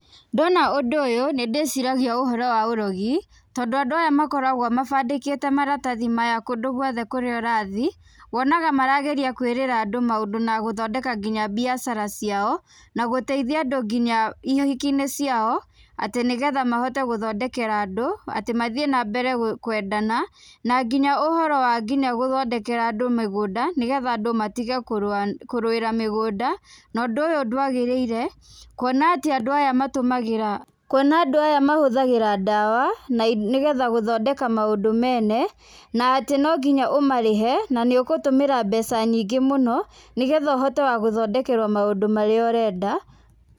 Ndona ũndũ ũyũ nĩndĩciragia ũhoro wa ũrogi, tondũ andũ aya makoragwo mabandĩkĩte maratathi maya kũndũ guothe kũrĩa ũrathi, wonaga marageria kwĩrĩra andũ maũndũ nginya gũthondeka biacara ciao, na gũteithia andũ nginya ihiki-inĩ ciao, atĩ nĩgetha mahote gũthondekera andũ atĩ mathiĩ na mbere na kwendana, na nginya ũhoro wa nginya gũthondekera andũ mĩgũnda, nĩgetha andũ matige kũrũĩra mĩgũnda. Na ũndũ ũyũ ndwagĩrĩire, kuona atĩ andũ aya matũmagĩra, kuona andũ aya mahũthagĩra ndawa, nĩgetha gũthondeka maũndũ mene, na atĩ no nginya ũmarĩhe na nĩũgũtũmĩra mbeca nyingĩ mũno, nĩgetha ũhote wa gũthondekerwo maũndũ marĩa ũrenda.